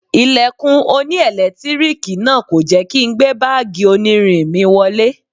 Ilẹ̀kùn oní ẹ̀lẹ́tíríìkì náà kò jẹ́ kí n gbé báàgì onírin mi wọlé.